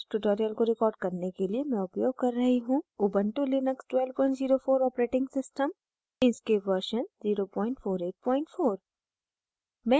इस tutorial को record करने के लिए मैं उपयोग कर रही हूँ